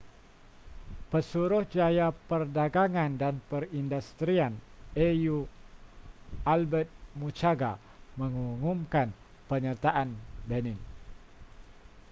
pesuruhjaya perdagangan dan perindustrian au albert muchanga mengumumkan penyertaan benin